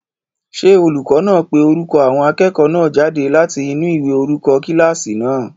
Ṣé olùkọ́ náà ń pe orúkọ àwọn akẹ́kọ̀ọ́ náà jáde láti inú ìwé orúkọ kílásì náà?